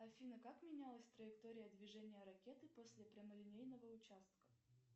афина как менялась траектория движения ракеты после прямолинейного участка